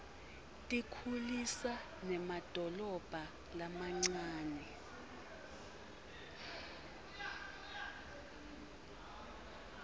tikhulisa nemadolobha lamancane